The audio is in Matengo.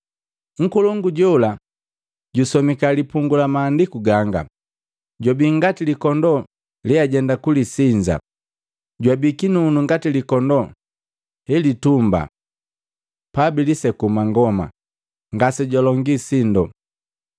Nkolongu jola jusomika lipungu la maandiku ganga, “Jwabii ngati likondoo leajenda kulisinza, jwabii kinunu ngati likondoo helitumbaa pabilisekuu mangoma. Ngase jwalongii sindo.